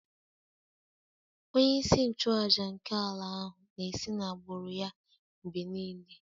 Onye-isi-nchu-àjà nke ala ahu na-esi n'agbụrụ ya mgbe nile